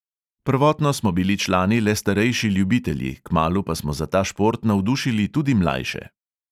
Prvotno smo bili člani le starejši ljubitelji, kmalu pa smo za ta šport navdušili tudi mlajše.